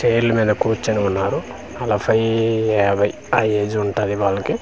చైర్ల ల మీద కూర్చొని ఉన్నారు అలా నలఫై యాభై ఆ ఏజ్ ఉంటాది వాళ్ళకి.